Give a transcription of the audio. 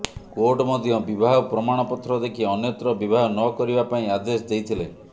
court ମଧ୍ୟ ବିବାହ ପ୍ରମାଣପତ୍ର ଦେଖି ଅନ୍ୟତ୍ର ବିବାହ ନ କରିବା ପାଇଁ ଆଦେଶ ଦେଇଥିଲେ